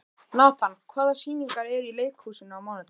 Natan, hvaða sýningar eru í leikhúsinu á mánudaginn?